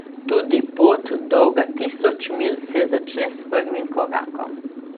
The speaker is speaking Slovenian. Tudi pot, dolga tisoč milj, se začne s prvim korakom.